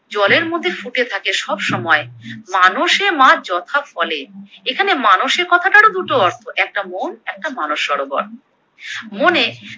জলের মধ্যে ফুটে থাকে সবসময়, মানসে মা যথা ফলে, এখানে মানসে কথাটার ও দুটো অর্থ একটা মন একটা মানস সরোবর, মনে